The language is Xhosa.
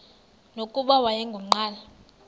nokuba wayengu nqal